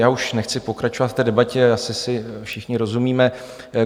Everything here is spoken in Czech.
Já už nechci pokračovat v té debatě, asi si všichni rozumíme.